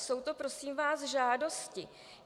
Jsou to, prosím vás, žádosti.